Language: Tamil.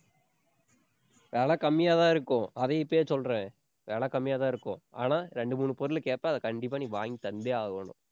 விலை கம்மியாதான் இருக்கும். அதையும் இப்பயே சொல்றேன். விலை கம்மியாதான் இருக்கும். ஆனா, ரெண்டு, மூணு பொருள் கேட்பேன் அதை கண்டிப்பா நீ வாங்கி தந்தே ஆகணும்.